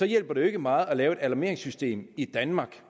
hjælper det jo ikke meget at lave et alarmeringssystem i danmark